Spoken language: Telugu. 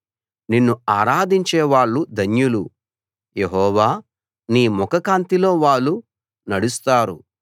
నిన్ను ఆరాధించే వాళ్ళు ధన్యులు యెహోవా నీ ముఖకాంతిలో వాళ్ళు నడుస్తారు